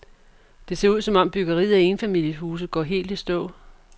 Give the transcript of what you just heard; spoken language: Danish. Det ser ud, som om byggeriet af enfamiliehuse går helt i stå.